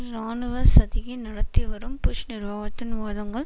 இராணுவ சதியை நடத்தி வரும் புஷ் நிர்வாகத்தின் வாதங்கள்